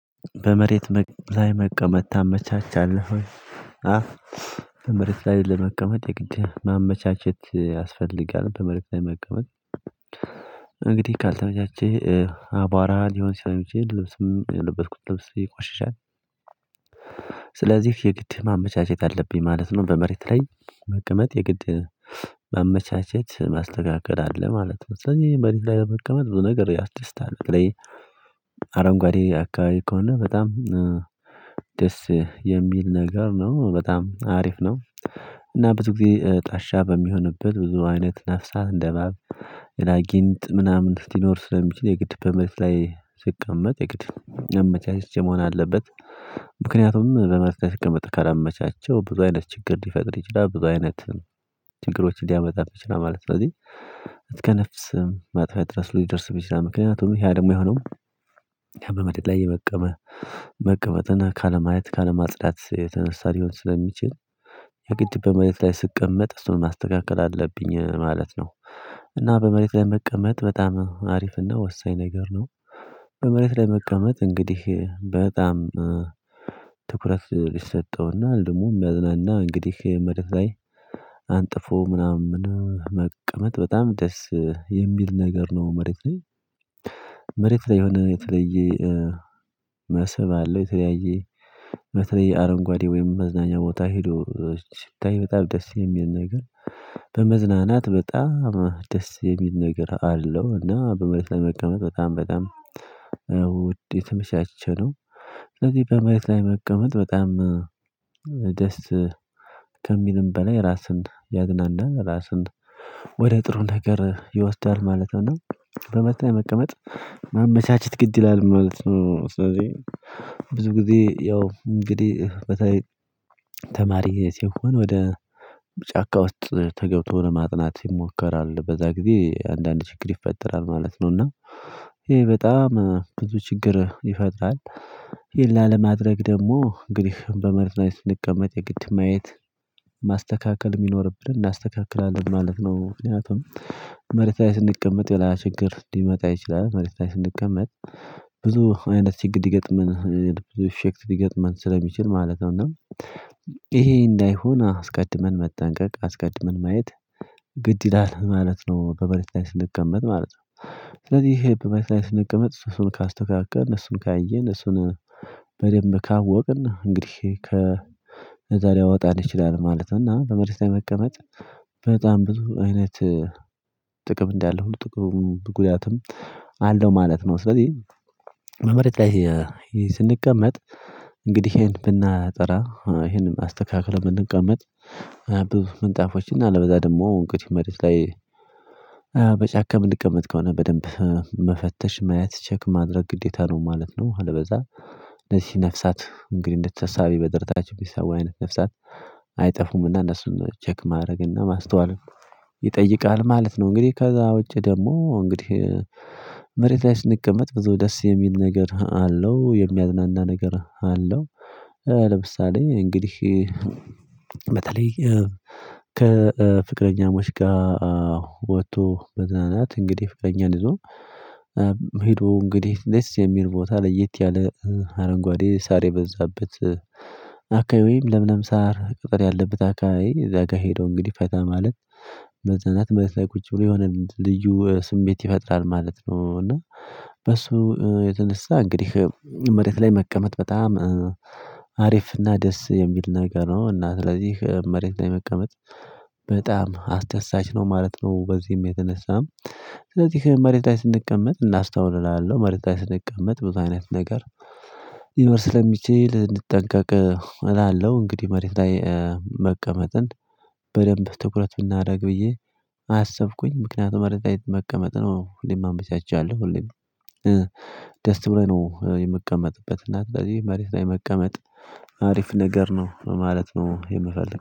በመሬት ላይ መቀመጥ ታመቻቻለህ ወይ አፍ በመሬት ላይ ለመቀመጥ የግድ ያስፈልጋል በመሬት ላይ መቀመጥ? እንግዲህ ካልተመቻቸህ አቧራ ሊሆን ሲሆን ልብስም የለበስኩት ልብስ ይቆሽሻል ስለዚህ የግድ ማመቻቸት አለብኝ ማለት ነው። በመሬት ላይ መቀመጥ የግድ ማመቻቸት ማስተካከል አለ ማለት ነው። ስለዚህ መሬት ላይ መቀመጥ ብዙ ነገር ያስደስታል በተለይ አረንጓዴ አካባቢ ከሆነ በጣም ደስ የሚል ነገር ነው በጣም አሪፍ ነው። እና ብዙ ጊዜ ጣሻ በሚሆንብን ብዙ አይነት ነፍሳት እንደእባብ የላጊንጥ ምናምን ሊኖር ስለሚችል የግድ በመሬት ላይ ስቀመጥ የግድ አመቻችቼ መሆን አለበት። ምክንያቱም በመሬት ላይ ስቀመጥ ከላመቻቸው ብዙ አይነት ችግር ሊፈጥር ይችላል ብዙ አይነት ችግሮችን ሊያመጣ ይችላል ማለት ነው። ስለዚህ እስከ ነፍስም ማጥፋት ድረስ ሊደርስ ይችላል ምክንያቱም ያ ደግሞ የሆነው ያ በመደድ ላይ የመቀመ መቀመጥን ካለማየት ካለማጽዳት የተነሳ ሊሆን ስለሚችል የግድ በመሬት ላይ ስቀመጥ እሱን ማስተካከል አለብኝ ማለት ነው። እና በመሬት ላይ መቀመጥ በጣም አሪፍና ወሳኝ ነገር ነው። በመሬት ላይ መቀመጥ እንግዲህ በጣም ትኩረት ይሰጠውና ደግሞ የሚያዝናና እንግዲህ መሬት ላይ አንጥፎ ምናምን መቀመጥ በጣም ደስ የሚል ነገር ነው። መሬት ላይ መሬት ላይ የሆነ የተለየ መስብ አለው የተለያየ በተለያ አረንጓዴ ወይም መዝናኛ ቦታ ሄዶ ስታዬ በጣም ደስ የሚል ነገር በመዝናናት በጣም ደስ የሚል ነገር አለው እና በመልስ ለመቀመጥ በጣም በጣም ውድ የተመቻች ነው። ስለዚህ በመሬት ላይ መቀመጥ በጣም ደስ ከሚልም በላይ ራስን ያዝናናል ራስን ወደ ጥሩ ነገር ይወስዳል ማለት ነው። በመሬታ ላይ መቀመጥ ማመቻችት ግድ ይላል ማለት ነው። ስለዚህ ብዙ ጊዜ ያው እንግዲህ በተለይ ተማሪ ሲሆን ወደ ጫካ ውስጥ ተገብቶ ለማጥናት ይሞከራል በዛ ጊዜ አንዳንድ ችግር ይፈጠራል ማለት ነው። እና ይሄ በጣም ብዙ ችግር ይፈጥራል ይሄን ላለማድረግ ደግሞ እንግዲህ በመሬት ላይ ስንቀመጥ የግድ ማየት ማስተካከል የሚኖርብን እናስተካክላለን ማለት ነው። ምክንያቱም መሬት ላይ ስንቀመጥ የባሰ ችግር ሊመጣ ይችላል መሬት ላይ ስንቀመጥ ብዙ አይነት ችግር ሊገጥመን ብዙ ሼክ ሊገጥመን ስለሚችል ማለት ነው። እና ይሄ እንዳይሆን አስቀድመን መጠንቀቅ አስቀድመን ማየት ግድ ይላል ማለት ነው። በመሬት ላይ ስንቀመጥ ማለት ነው ስለዚህ ይሄ በመሬት ላይ ስንቀመጥ እሱ ካስተካከልን እሱን ካየን እሱን በደንብ ካወቅን እንግዲህ ከ እዛ ሊያወጣን ይችላል ማለት ነው። እና በመሬት ላይ መቀመጥ በጣም ብዙ አይነት ጥቅም እንዳለው ጥቅምም ጉዳትም አለው ማለት ነው። ስለዚህ በመሬት ላይ ስንቀመጥ እንግዲህ ይሄን ብናጠራ ይሄንም አስተካክለን ብንቀመጥ ምንጣፎች እና አለበለዛ ደግሞ እንግዲህ መሬት ላይ በጫካ የምንቀመጥ ከሆነ በደንብ መፈተሽ ማየት ቼክ ማድረግ ግዴታ ነው ማለት ነው። አለበለዛ እነዚህ ነፍሳት እንግዲህ እንደተሳቢ በደረታቸው የሚሳቡ አይነት ነፍሳት አይጠፉምና እነሱን ቼክ ማድረግና ማስተዋል ይጠይቃል ማለት ነው። እንግዲህ ከዛ ውጪ ደግሞ እንግዲህ መሬት ላይ ስንቀመጥ ብዙ ደስ የሚል ነገር አለው የሚያዝናና ነገር አለው። ለምሳሌ እንግዲህ በተለይ ከፍቅረኛሞች ጋር ወጥቶ መዝናናት እንግዲህ ፍቅረኛ ይዞ ሄዶ እንግዲህ ደስ የሚል ቦታ ለየት ያለ አረንጓዴ ሳር የበዛበት አካይ ወይም ለምለም ሳር ቅጥር ያለበት አካባቢ እዛ ጋር ሄዶ እንግዲህ ፈታ ማለት መዝናናት መሬት ላይ ቁጭ ብሎ የሆነ ልዩ ስሜት ይፈጥራል ማለት ነው። እና በሱ የተነሳ እንግዲህ መሬት ላይ መቀመጥ በጣም አሪፍና ደስ የሚል ነገር ነው እና ስለዚህ መሬት ላይ መቀመጥ በጣም አስደሳች ነው ማለት ነው። በዚህም የተነሳም ስለዚህ መሬት ላይ ስንቀመጥ እናስታውል እላለው መሬት ላይ ስንቀመጥ ብዙ አይነት ነገር ሊመስል ስለሚችል እጠንቀቅ እላለሁ እንግዲህ መሬት ላይ መቀመጥን በደንብ ትኩረት ብናደርግ ብዬ አሰብኩኝ ምክንያቱም መሬት ላይ መቀመጥ ነው ሁሌም አመቻቻለሁ ሁሌም አሪፍና ደስ የሚል ነገር ነው። እና ስለዚህ መሬት ላይ መቀመጥ በጣም አስደሳች ነው ማለት ነው። በዚህም የተነሳም